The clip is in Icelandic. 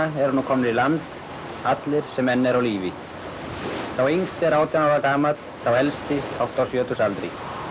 eru nú komnir í land allir sem enn eru á lífi sá yngsti er átján ára gamall sá elsti hátt á sjötugsaldri